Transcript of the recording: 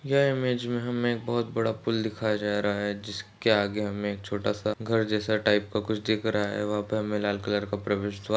यह इमेज हमे बहुत बड़ा पूल दिखाया जा रहा है जिसके आगे हमे एक छोटासा घर जैसा टाइप का कुछ दिख रहा है वहाँ पे हमे लाल कलर का प्रवेशद्वार--